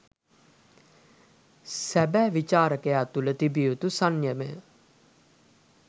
සැබෑ විචාරකයා තුළ තිබිය යුතු සංයමය